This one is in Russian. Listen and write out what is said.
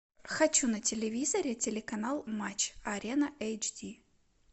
хочу на телевизоре телеканал матч арена эйч ди